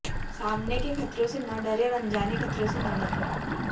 सामने के खतरों से न डरें और अनजाने खतरों से न डरें